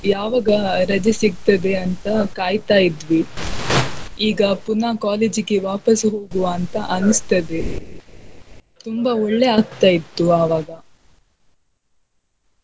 ಯಾವಾಗ ರಜೆ ಸಿಗ್ತದೆ ಅಂತ ಕಾಯ್ತಾ ಇದ್ವಿ ಈಗ ಪುನಃ college ಗೆ ವಾಪಸ್ಸು ಹೋಗುವಾ ಅಂತಾ ಅನಸ್ತದೆ. ತುಂಬಾ ಒಳ್ಳೇ ಆಗ್ತಾ ಇತ್ತು ಆವಾಗ.